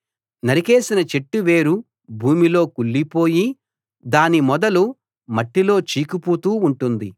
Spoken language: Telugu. నరికేసిన చెట్టు వేరు భూమిలో కుళ్లిపోయి దాని మొదలు మట్టిలో చీకిపోతూ ఉంటుంది